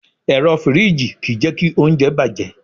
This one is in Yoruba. Ẹ̀rọ fìríjì kì í jẹ́kí oúnjẹ bàjẹ́.